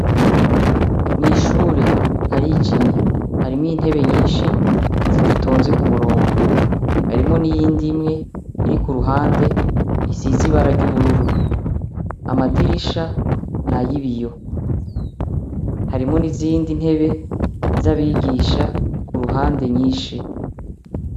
Mw’ishure harijinye ,harimwo intebe nyinshi zidatonze kumurongo, harimwo niyindi imwe irikuruhande isize ibara ry’ubururu, amadirisha nayibiyo, harimwo n’izindi ntebe z’abigisha kuruhande nyinshi.